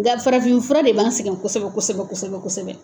Nga farafin fura de b'an sɛgɛn kosɛbɛ kosɛbɛ kosɛbɛ kosɛbɛ kosɛbɛ.